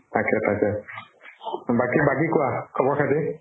তাকে তাকে । বাকী বাকী কোৱা খবৰ খাতি?